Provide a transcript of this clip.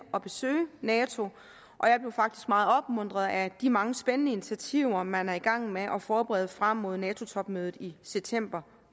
at besøge nato og jeg blev faktisk meget opmuntret af de mange spændende initiativer man er i gang med at forberede frem mod nato topmødet i september